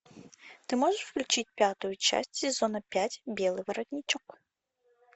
ты можешь включить пятую часть сезона пять белый воротничок